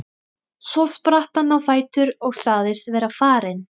Svo spratt hann á fætur og sagðist vera farinn.